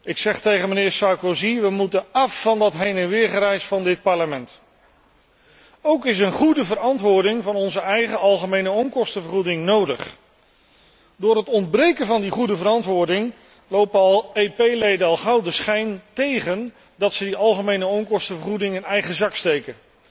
Ik zeg tegen mijnheer Sarkozy we moeten af van dat heen en weer gereis van dit Parlement. Ook is een goede verantwoording van onze eigen algemene onkostenvergoeding nodig. Door het ontbreken van die goede verantwoording hebben EP leden al gauw de schijn tegen dat ze die algemene onkostenvergoeding in eigen zak steken.